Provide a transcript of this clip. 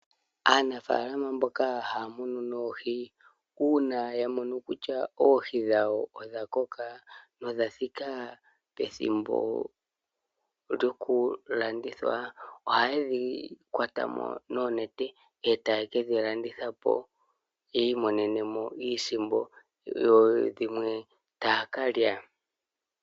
Aanafaalama mboka haamunu noohi uuna yamono kutya oohi dhawo odha koka nodha thika pethimbo lyokulandithwa ohaye dhi kwatamo nnonete eetaye kedhi landithapo yiimonenemo iisimpo yodhimwe taakalya.